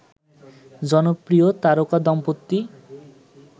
জনপ্রিয় তারকা দম্পতি